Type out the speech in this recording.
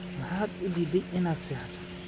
Maxaad u diidday inaad seexato?